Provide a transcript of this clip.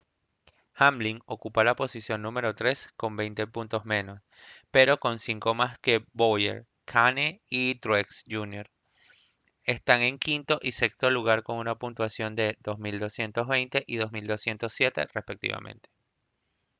hamlin ocupa la posición número tres con veinte puntos menos pero con cinco más que bowyer kahne y truex jr están en quinto y sexto lugar con una puntuación de 2220 y 2207 respectivamente